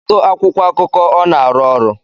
Kedu akwụkwọ akụkọ ọ na-arụ ọrụ?